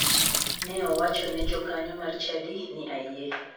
Ne owacho ne jokanyo mar chadi ni ayie.